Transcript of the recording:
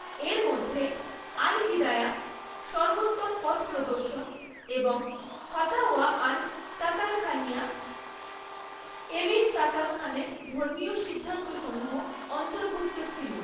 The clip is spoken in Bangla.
এর মধ্যে আল হিদায়া সর্বোত্তম পথ প্রদর্শন এবং ফাতাওয়া আল তাতারখানিয়া এমির তাতারখানের ধর্মীয় সিদ্ধান্তসমূহ অন্তর্ভুক্ত ছিল।